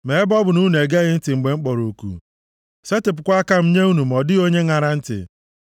Ma ebe ọ bụ na unu egeghị ntị mgbe m kpọrọ oku, setịpụkwa aka m nye unu ma ọ dịghị onye ṅara ntị,